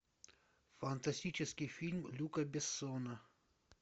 фантастический фильм люка бессона